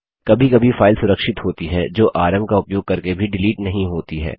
कभी कभी फाइल सुरक्षित होती हैं जो आरएम का उपयोग करके भी डिलीट नहीं होती हैं